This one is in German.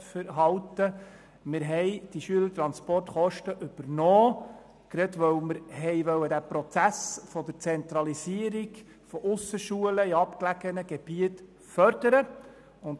Wir haben die Schülertransportkosten übernommen, gerade weil wir den Prozess der Zentralisierung von Aussenschulen in abgelegenen Gebieten fördern wollen.